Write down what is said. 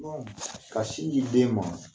ka sin di den ma